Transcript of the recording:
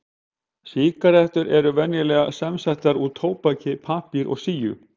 Sígarettur eru venjulega samsettar úr tóbaki, pappír og síu.